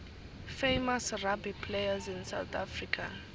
famous rugby players in south africa